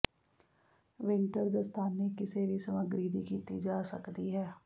winter ਦਸਤਾਨੇ ਕਿਸੇ ਵੀ ਸਮੱਗਰੀ ਦੀ ਕੀਤੀ ਜਾ ਸਕਦੀ ਹੈ